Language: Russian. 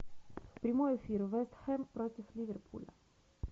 прямой эфир вест хэм против ливерпуля